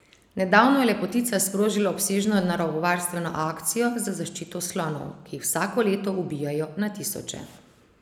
Nedavno je lepotica sprožila obsežno naravovarstveno akcijo za zaščito slonov, ki jih vsako leto ubijejo na tisoče.